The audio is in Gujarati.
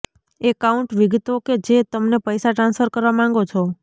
એકાઉન્ટ વિગતો કે જે તમને પૈસા ટ્રાન્સફર કરવા માંગો છો